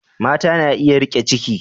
Mata na iya riƙe ciki.